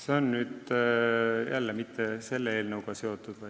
See ei ole nüüd jälle selle eelnõuga seotud.